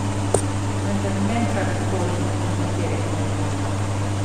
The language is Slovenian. Vendar ne kadar koli in katere koli.